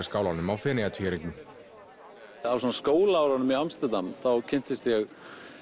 skálanum á Feneyjartvíæringnum á skólaárunum í Amsterdam þá kynntist ég